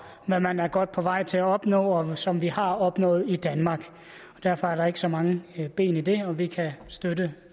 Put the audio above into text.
man er godt på vej til at opnå og som vi har opnået i danmark derfor er der ikke så mange ben i det og vi kan støtte